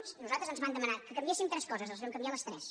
a nosaltres ens van demanar que canviéssim tres co·ses les vam canviar les tres